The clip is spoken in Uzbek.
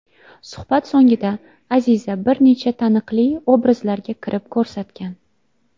Suhbat so‘ngida Aziza bir necha taniqli obrazlarga kirib ko‘rsatgan.